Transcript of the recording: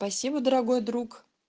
спасибо дорогой друг